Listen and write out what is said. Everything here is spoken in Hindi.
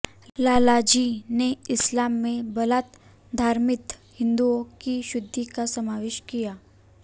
लालाजी ने इस्लाम में बलात धर्मांतरित हिन्दुओं की शुद्धि का समावेश किया